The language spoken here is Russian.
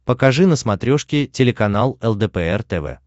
покажи на смотрешке телеканал лдпр тв